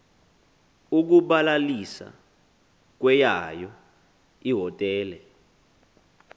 ukubalalisa kweyayo ihotele